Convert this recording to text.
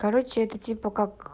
короче это типа как